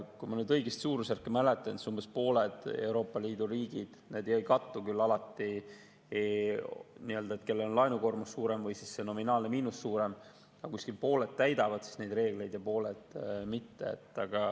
Kui ma suurusjärku nüüd õigesti mäletan, siis umbes pooled Euroopa Liidu riigid – need küll alati ei kattu, kellel on laenukoormus suurem või nominaalne miinus suurem – täidavad neid reegleid ja pooled mitte.